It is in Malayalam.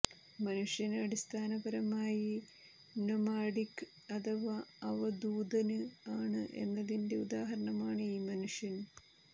മനുഷ്യന് അടിസ്ഥാനപരമായി നൊമാഡിക് അഥവാ അവധൂതന് ആണ് എന്നതിന്റെ ഉദാഹരണമാണ് ഈ മനുഷ്യന്